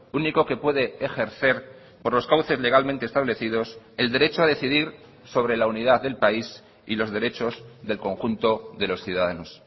único que puede ejercer por los cauces legalmente establecidos el derecho a decidir sobre la unidad del país y los derechos del conjunto de los ciudadanos